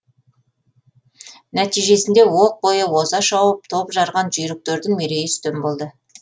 нәтижесінде оқ бойы оза шауып топ жарған жүйріктердің мерейі үстем болды